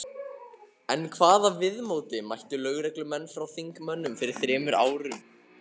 En hvaða viðmóti mættu lögreglumenn frá þingmönnum fyrir þremur árum?